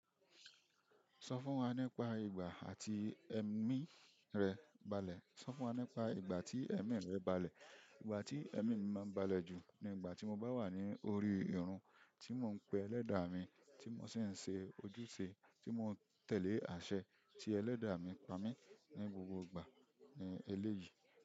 Sọ fún wa nípa ìgbà àti ẹ̀mi rẹ balẹ̀. Sọ fún wa nípa ìgbà tí ẹ̀mi rẹ balẹ̀. Ìgbà tí ẹ̀mí mi máa ń balẹ̀ jù ni ìgbà tí mo bá wà ní orí irun tí mò ń pe Ẹlẹ́dà mi, tí mò si ń ṣe ojúṣe, tí mò ń tẹ̀lé àṣẹ tí Ẹlẹ́dà mi pa mí ní gbogbo ìgbà ní eléyìí.